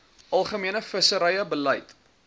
algemene visserye beleid